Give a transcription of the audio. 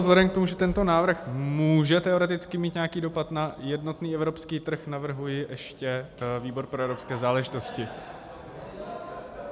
Vzhledem k tomu, že tento návrh může teoreticky mít nějaký dopad na jednotný evropský trh, navrhuji ještě výbor pro evropské záležitosti.